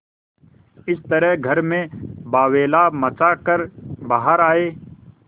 इस तरह घर में बावैला मचा कर बाहर आये